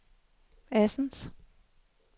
Assens